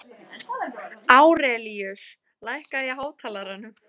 Árelíus, lækkaðu í hátalaranum.